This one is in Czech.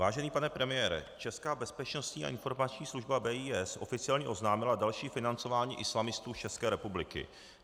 Vážený pane premiére, česká Bezpečnostní informační služba, BIS, oficiálně oznámila další financování islamistů z České republiky.